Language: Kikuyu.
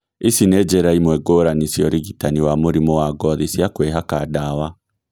ici nĩ njĩra imwe ngũrani cia ũrigitani wa mũrimũ wa ngothi cia kwĩhaka ndawa